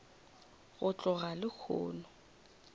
go tloga lehono nka se